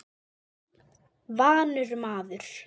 Vanur maður.